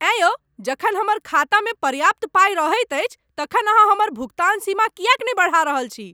अँय यौ, जखन हमर खातामे पर्याप्त पाइ रहैत अछि तखन अहाँ हमर भुगतान सीमा किएक नहि बढ़ा रहल छी?